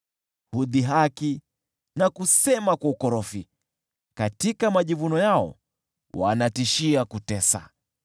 Hudhihaki na kusema kwa ukorofi, katika majivuno yao wanatishia kutesa.